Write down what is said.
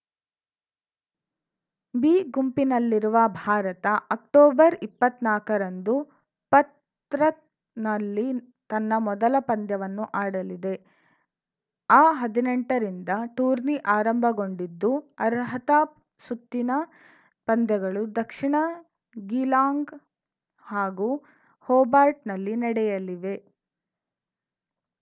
B ಗುಂಪಿನಲ್ಲಿರುವ Bharat October ಇಪ್ಪತ್ತ್ ನಾಕ ರಂದು ಪತ್‌ರ್‍ನಲ್ಲಿ ತನ್ನ ಮೊದಲ ಪಂದ್ಯವನ್ನು ಆಡಲಿದೆ ಅಹದಿನೆಂಟ ರಿಂದ ಟೂರ್ನಿ ಆರಂಭಗೊಂಡಿದ್ದು ಅರ್ಹತಾ ಸುತ್ತಿನ ಪಂದ್ಯಗಳು ದಕ್ಷಿಣ ಗೀಲಾಂಗ್‌ ಹಾಗೂ ಹೊಬಾರ್ಟ್‌ನಲ್ಲಿ ನಡೆಯಲಿವೆ